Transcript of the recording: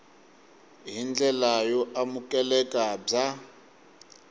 hi ndlela yo amukeleka bya